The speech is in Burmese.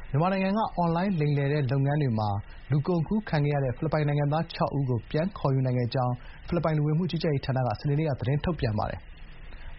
မြန်မာနိုင်ငံက အွန်လိုင်း လိမ်လည်တဲ့ လုပ်ငန်းတွေမှာ လူကုန်ကူးခံခဲ့ရတဲ့ ဖိလစ်ပိုင်နိုင်ငံသား ၆ ဦးကို ပြန်ခေါ်ယူနိုင်ခဲ့ကြောင်း ဖိလစ်ပိုင် လူဝင်မှုကြီးကြပ်ရေးဌာန စနေနေ့က သတင်းထုတ်ပြန်ပါတယ်။